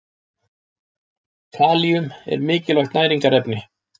Kalíum er mikilvægt næringarefni.